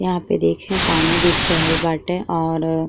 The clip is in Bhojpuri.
यह पे देखें पानी दिख रहल बाटे और --